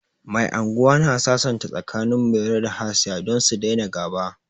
Mai anguwa na sasanta tsakanin Mairo da Hasiya don su daina ga'ba.